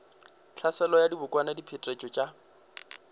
tlhaselo ya dibokwana diphetetšo tša